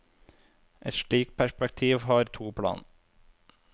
Et slikt perspektiv har to plan.